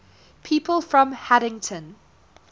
people from haddington